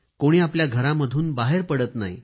कोणी आपल्या घरामधून बाहेर पडत नाही